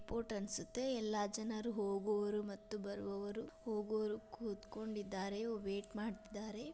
Airport ಅನ್ಸುತ್ತೆಎಲ್ಲಾ ಜನರು ಹೋಗುವರು ಮತ್ತು ಬರುವರು ಹೋಗುವರು ಕುಟ್ಕೊಂಡಿದಾರೆ ವೇಟ್ ಮಾಡ್ತಿದ್ದಾರೆ .